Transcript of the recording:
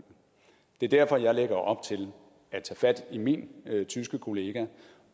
det er derfor jeg lægger op til at tage fat i min tyske kollega